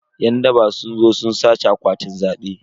Yan daba sun zo sun sace akwatunan zabe.